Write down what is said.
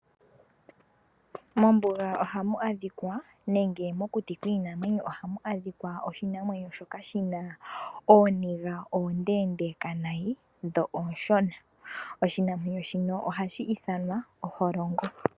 Mombuga ohamu adhikwa nenge mokuti kwiinamwenyo ohamu adhikwa oshinamwenyo shoka shina ooniga ondeendeka nayi dho ooshona, oshinamwenyo shino ohashi ithanwa oholongo.